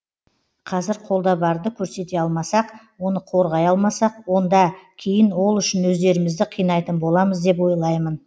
қазір қолда барды көрсете алмасақ оны қорғай алмасақ онда кейін ол үшін өздерімізді қинайтын боламыз деп ойлаймын